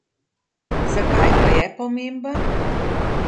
Zakaj pa je pomemben?